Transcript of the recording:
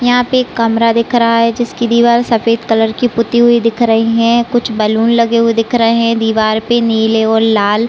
यहाँ पे एक कमरा दिख रहा है जिसकी दीवाल सफ़ेद कलर की पुती हुई दिख रही है कुछ बैलून लगे हुए दिख रहे है दिवार पर नीले और लाल--